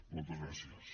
moltes gràcies